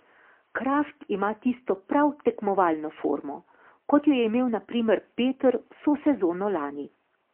Kraft ima tisto prav tekmovalno formo, kot jo je imel na primer Peter vso sezono lani.